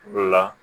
Dɔ la